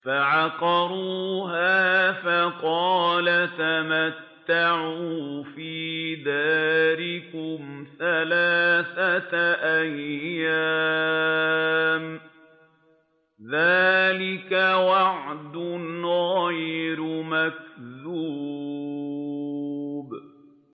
فَعَقَرُوهَا فَقَالَ تَمَتَّعُوا فِي دَارِكُمْ ثَلَاثَةَ أَيَّامٍ ۖ ذَٰلِكَ وَعْدٌ غَيْرُ مَكْذُوبٍ